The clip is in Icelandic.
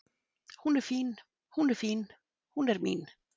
Hún er fín, hún er fín, hún er mín.